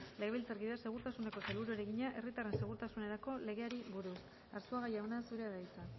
legebiltzarkideak segurtasuneko sailburuari egina herritarren segurtasunerako legeari buruz arzuaga jauna zurea da hitza